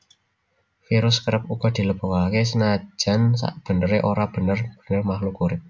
Virus kerep uga dilebokaké senajan sakbeneré ora bener bener makhluk urip